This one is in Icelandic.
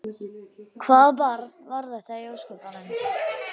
Hvaða barn var þetta í ósköpunum?